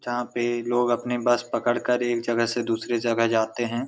जहाँ पे लोग अपनी बस पकड़कर एक जगह से दूसरी जगह जाते हैं।